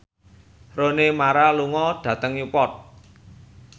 Rooney Mara lunga dhateng Newport